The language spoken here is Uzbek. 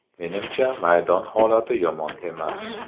Menimcha, maydon holati yomon emas.